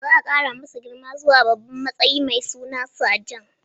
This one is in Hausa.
Za a kara masa girma zuwa wani babban matsayi mai suna Sajan.